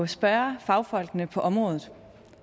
spørge fagfolkene på området